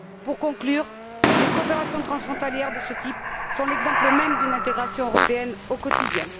Pour conclure, les coopérations transfrontalières de ce type sont l'exemple même d'une intégration européenne au quotidien.